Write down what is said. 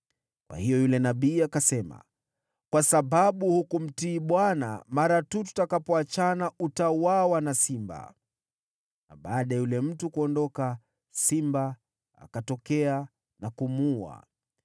Kwa hiyo yule nabii akasema, “Kwa sababu hukumtii Bwana , mara tu tutakapoachana utauawa na simba.” Na baada ya yule mtu kuondoka, simba akatokea na kumuua.